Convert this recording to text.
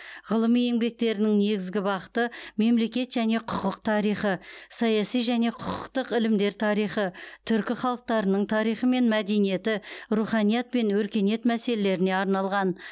ғылыми еңбектерінің негізгі бағыты мемлекет және құқық тарихы саяси және құқықтық ілімдер тарихы түркі халықтарының тарихы мен мәдениеті руханият пен өркениет мәселелеріне арналған